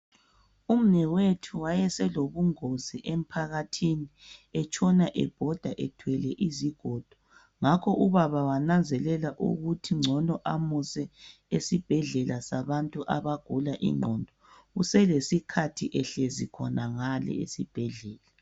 Umnewethu wayeselobungozi emphakathini etshona ebhoda ethwele izigodo ngakho ubaba wananzelela ukuthi ngcono amuse esibhedlela sabantu abagula ingqondo uselesikhathi ehlezi khonangale esibhedlela.